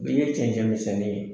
Min ye cɛncɛn misɛnnin ye